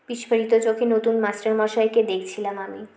বিস্ফোরিত চোখে নতুন master মশাইকে দেখছিলাম আমি